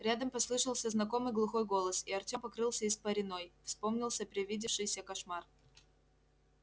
рядом послышался знакомый глухой голос и артём покрылся испариной вспомнился привидевшийся кошмар